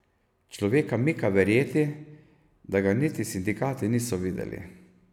Človeka mika verjeti, da ga niti sindikati niso videli.